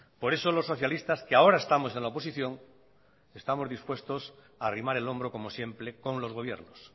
por eso los socialistas que ahora estamos en la oposición estamos dispuestos a arrimar el hombro como siempre con los gobiernos